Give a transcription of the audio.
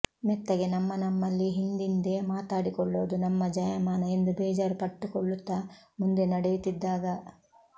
ಮೆತ್ತಗೆ ನಮ್ಮ ನಮ್ಮಲ್ಲಿ ಹಿಂದಿಂದೆ ಮಾತಾಡಿಕೊಳ್ಳೋದು ನಮ್ಮ ಜಾಯಮಾನ ಎಂದು ಬೇಜಾರು ಪಟ್ಟುಕೊಳ್ಳುತ್ತಾ ಮುಂದೆ ನಡೆಯುತ್ತಿದ್ದಾಗ